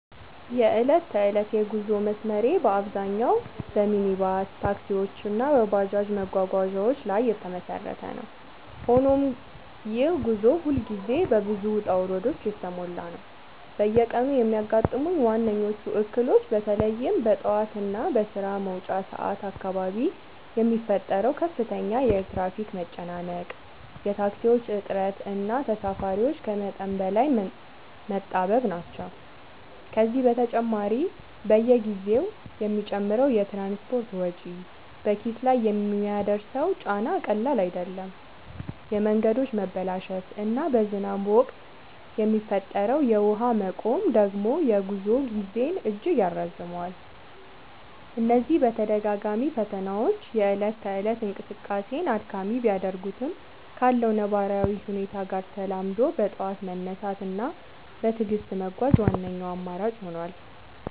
የዕለት ተዕለት የጉዞ መስመሬ በአብዛኛው በሚኒባስ ታክሲዎች እና በባጃጅ መጓጓዣዎች ላይ የተመሰረተ ነው፤ ሆኖም ይህ ጉዞ ሁልጊዜ በብዙ ውጣ ውረዶች የተሞላ ነው። በየቀኑ የሚያጋጥሙኝ ዋነኞቹ እክሎች በተለይም በጠዋት እና በስራ መውጫ ሰዓት አካባቢ የሚፈጠረው ከፍተኛ የትራፊክ መጨናነቅ፣ የታክሲዎች እጥረት እና ተሳፋሪዎች ከመጠን በላይ መጣበብ ናቸው። ከዚህ በተጨማሪ፣ በየጊዜው የሚጨምረው የትራንስፖርት ወጪ በኪስ ላይ የሚያደርሰው ጫና ቀላል አይደለም፤ የመንገዶች መበላሸት እና በዝናብ ወቅት የሚፈጠረው የውሃ መቆም ደግሞ የጉዞ ጊዜን እጅግ ያራዝመዋል። እነዚህ ተደጋጋሚ ፈተናዎች የእለት ተእለት እንቅስቃሴን አድካሚ ቢያደርጉትም፣ ካለው ነባራዊ ሁኔታ ጋር ተላምዶ በጠዋት መነሳት እና በትዕግስት መጓዝ ዋነኛው አማራጭ ሆኗል።